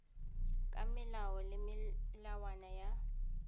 ka melao le melawana ya